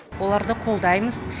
оларды қолдаймыз